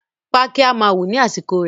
Pákí máa wù ní àsìkò rẹ̀